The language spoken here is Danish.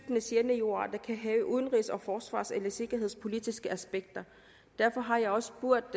de sjældne jordarter kan have af udenrigs og forsvars eller sikkerhedspolitiske aspekter derfor har jeg også spurgt